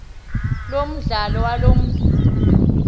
lomandlalo waloo mntu